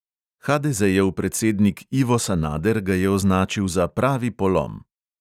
Hadezejev predsednik ivo sanader ga je označil za pravi polom.